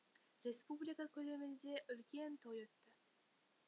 республика көлемінде үлкен той өтті